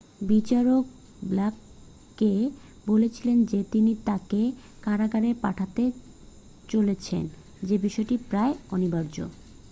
"বিচারক ব্লেককে বলেছিলেন যে তিনি তাকে কারাগারে পাঠাতে চলেছেন সে বিষয়টি "প্রায় অনিবার্য""।